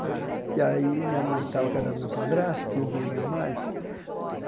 Que aí minha mãe estava casada do meu padrasto, tinha um dinheirinho a mais.